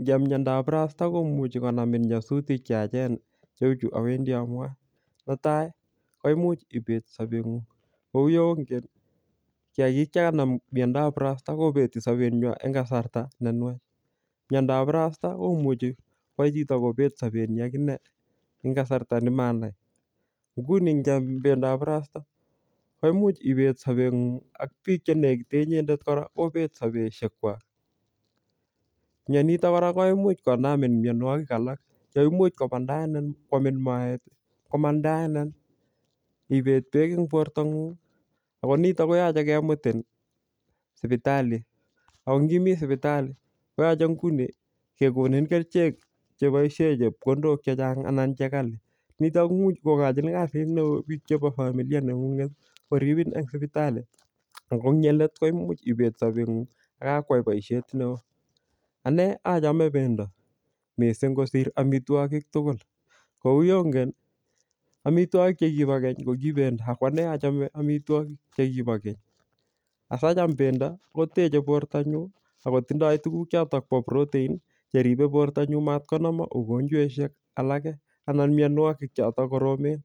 Ngiam miandob burasta komuchi konamin nyasutik che yachen cheu chu awendi amwae. Netai, koimuch ibet sabet ngung. Kou yeongen, kiyagik chekanam miandob burasta kobeti sabet nywa eng kasarta ne nwach. Miandob burasata, komuchi kwai chito kobet sabet nyi akine eng kasarta ne manai. Nguni ngiyam pendop burasta, ko imuch ibet sabet ngung ak biik che nekite inyendet kora, kobet sabeshek kwak. Mianitok kora koimuch konami mianwogik alak, che imuch komandaenin kwamin moet, komandaenin ibet beek eng borto ng'ung. Ako niton, koyache kemutin sipitali. Ako ngimi sipitali, koyache nguni kekonin kerichek che boisie chepkondok chechang anan che kali. Niton komuch kokochin kasi neoo biiik chebo familia neng'ung'et koribin eng sipitali. Ako eng yelet, koimuch ibet sabet ngung akakwai boisiet neoo. Ane achame pendo mising kosir amtwogik tugul. Kou yeongen, amitwogik che kibo keny, koki pendo. Akwane achame amitwogik che kibo keny. Asacham pendo, koteche borto nyu, akotindoi tuguk chotok bo protein, cheripe borto nyu matkonama mugonjweshek alake, anan mianwogik chotok koromen.